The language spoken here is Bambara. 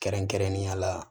Kɛrɛnkɛrɛnnenya la